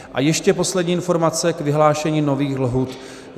A ještě poslední informace k vyhlášení nových lhůt.